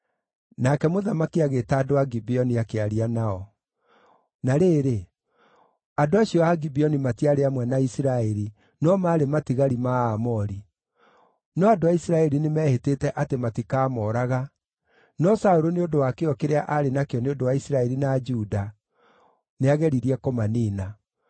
Nake mũthamaki agĩĩta andũ a Gibeoni akĩaria nao. (Na rĩrĩ, andũ acio a Gibeoni matiarĩ amwe na Isiraeli no maarĩ matigari ma Aamori; no andũ a Isiraeli nĩmehĩtĩte atĩ matikamooraga, no Saũlũ nĩ ũndũ wa kĩyo kĩrĩa aarĩ nakĩo nĩ ũndũ wa Isiraeli na Juda nĩageririe kũmaniina.)